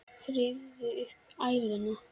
Þrífðu upp æluna.